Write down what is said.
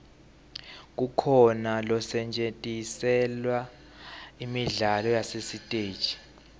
kukhona losetjentiselwa imidlalo yasesiteji